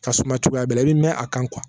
Ka suma cogoya bɛɛ la i bɛ mɛn a kan